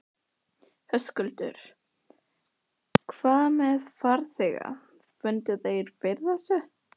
Höskuldur: Hvað með farþega, fundu þeir fyrir þessu?